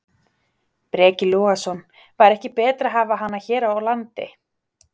Breki Logason: Væri ekki betra að hafa hana hér á landi?